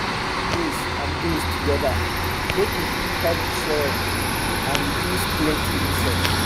him plant maize and beans together make e fit help d soil and reduce plenty insects